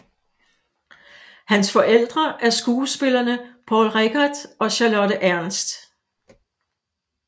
Hans forældre er skuespillerne Poul Reichhardt og Charlotte Ernst